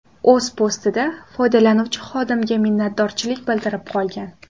O‘z postida foydalanuvchi xodimga minnatdorchilik bildirib qolgan.